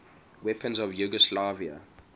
weapons of yugoslavia